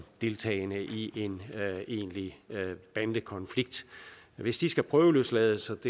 deltagende i en egentlig bandekonflikt hvis de skal prøveløslades og